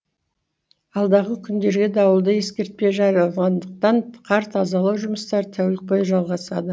алдағы күндерге дауылды ескертпе жарияланғандықтан қар тазалау жұмыстары тәулік бойы жалғасады